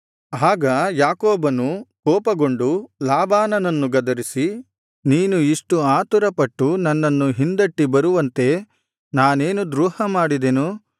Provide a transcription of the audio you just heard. ಆಗ ಯಾಕೋಬನು ಕೋಪಗೊಂಡು ಲಾಬಾನನನ್ನು ಗದರಿಸಿ ನೀನು ಇಷ್ಟು ಆತುರ ಪಟ್ಟು ನನ್ನನ್ನು ಹಿಂದಟ್ಟಿ ಬರುವಂತೆ ನಾನೇನು ದ್ರೋಹ ಮಾಡಿದೆನು